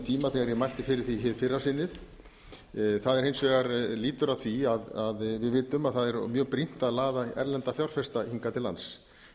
tíma þegar ég mælti fyrir því hér fyrra sinnið það hins vegar lýtur að því að við vitum að það er mjög brýnt að laða erlendra fjárfesta hingað til lands